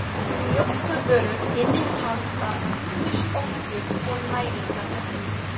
Mjólkurvörur innihalda ýmis orku- og næringarefni.